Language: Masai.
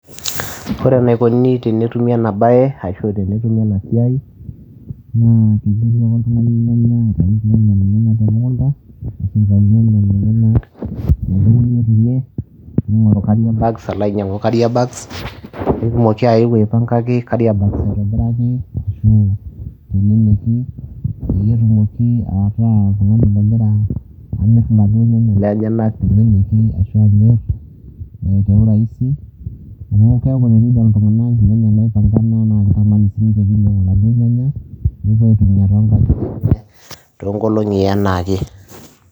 Ore enikoni tenetumu ena bae ashu tenetumi ena siai naa teneuni ake oltungani irnyanya lenyenak temukunta nitau oltungani irnyanya lenyenak ,ningoru kaariabgs alo ainyangu kariabang, netumoki ayau kariabang aipangaki teleleki, peyie etumoki ataa oltungani ogira amir mali enyenak teleleki ashu ninye teurasi ,amu teninepu iltunganak irnyanya loipangana nemaniki einyangu siininche laduo nyanya nepuo aitumiyia toonkangitie enye toonkolongi enaake.